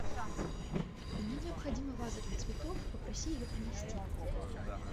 мне необходима ваза для цветов попроси ее принести